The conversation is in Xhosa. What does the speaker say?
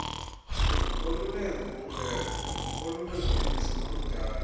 oluneenguqulelo olunengeniso noludala